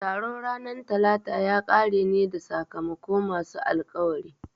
Taron ranar Talata ya kare ne da sakamako masu alkawari